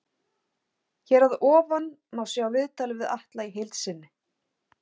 Hér að ofan má sjá viðtalið við Atla í heild sinni.